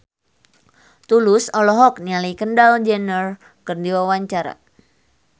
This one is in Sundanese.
Tulus olohok ningali Kendall Jenner keur diwawancara